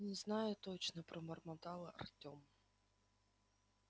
не знаю точно пробормотал артём